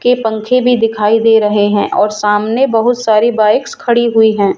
के पंखे भी दिखाई दे रहे है और सामने बहुत सारी बाइक्स खड़ी हुई है।